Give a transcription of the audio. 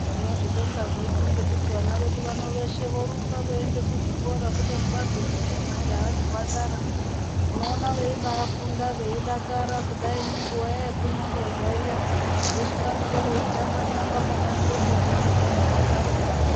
Tonozvibonga zvedu ngekuti vana vedu vano veshe vorumba veienda kuzvikora kubeni vazogumeyo majaha nemhandara unoona veibafunda veidakara kudai nenguwa iya yekunyamborya veshe vanenge veitamba tamba pabanzepo kuratidze kuti varikudakara.